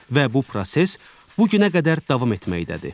Və bu proses bu günə qədər davam etməkdədir.